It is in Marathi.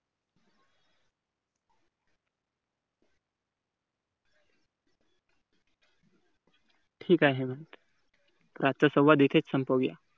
ठीक आहे. आजचा संवाद इथेच संपवूया